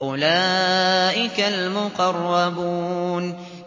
أُولَٰئِكَ الْمُقَرَّبُونَ